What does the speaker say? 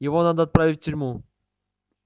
его надо отправить в тюрьму